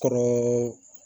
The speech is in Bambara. Kɔnɔ